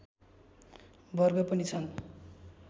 वर्ग पनि छन्